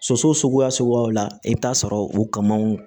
Soso suguya suguyaw la i bɛ taa sɔrɔ u kamaw